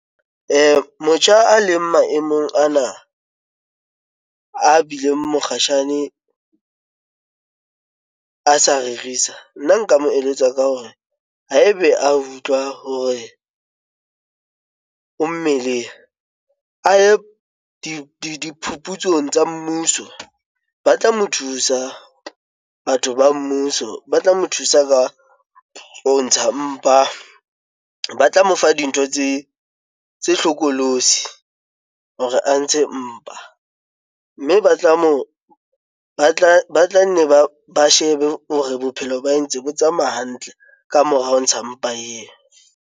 Motjha a leng maemong ana a bileng mokgatjhane a sa rerisa nna nka mo eletsa ka hore haebe a utlwa hore o mmeleng aye diphuputsong tsa mmuso, ba tla mo thusa batho ba mmuso ba tla mo thusa ka ho ntsha mpa, ba tla mo fa dintho tse hlokolosi hore a ntshe mpa, mme ba tla moo ba tla nne ba shebe hore bophelo ba hae ntse bo tsamaya hantle ka mora ho ntsha mpa eo.